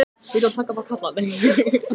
ætlið þið ekki að fá ykkur snúning?